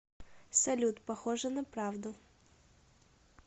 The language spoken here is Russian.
салют похоже на правду